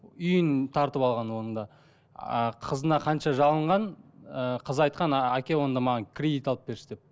үйін тартып алған оның да а қызына қанша жалынған ыыы қызы айтқан әке онда маған кредит алып берші деп